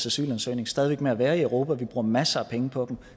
asylansøgning stadig væk med at være i europa vi bruger masser af penge på dem